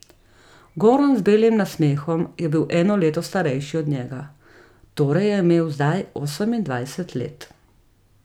Goran z belim nasmehom je bil eno leto starejši od njega, torej je imel zdaj osemindvajset let.